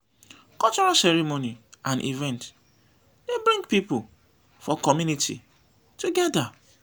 cultural ceremony and events dey bring pipo for community together